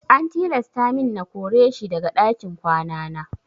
An tilasta min na kore shi daga ɗakin kwana na.